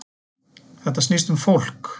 Þetta snýst um fólk